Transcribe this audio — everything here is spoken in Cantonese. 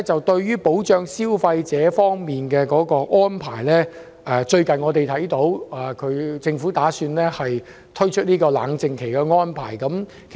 對於保障消費者權益的安排，特區政府最近宣布有意設立法定冷靜期。